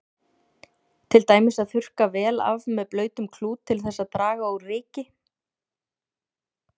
Til dæmis að þurrka vel af með blautum klút til þess að draga úr ryki.